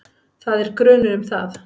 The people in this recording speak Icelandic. Það er grunur um það.